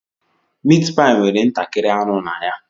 Meatpie nwere ntakịrị anụ na ya.